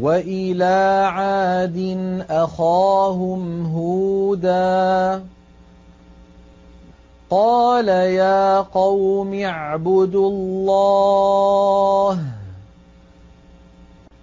وَإِلَىٰ عَادٍ أَخَاهُمْ هُودًا ۚ قَالَ يَا قَوْمِ اعْبُدُوا اللَّهَ